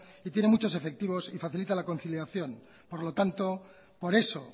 y tiene muchos efectivos y facilita la conciliación por lo tanto por eso